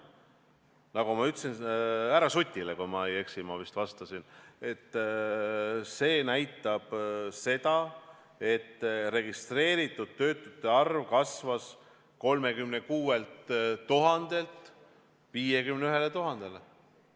Nagu ma ütlesin härra Sutile, kui ma ei eksi, et statistika näitab seda, et registreeritud töötute arv kasvas 36 000-lt 51 000-le.